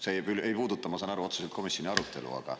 See küll ei puuduta, ma saan aru, otseselt komisjoni arutelu, aga …